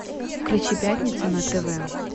включи пятница на тв